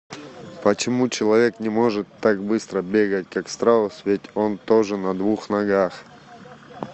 почему человек не может так быстро бегать как страус ведь он тоже на двух ногах